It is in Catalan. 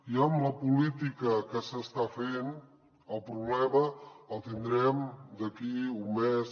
i amb la política que s’està fent el problema el tindrem d’aquí un mes